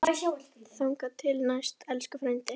Þangað til næst, elsku frændi.